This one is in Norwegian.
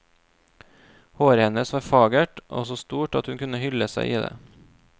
Håret hennes var fagert og så stort at hun kunne hylle seg i det.